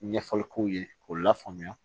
Ɲɛfɔli k'u ye k'u lafaamuya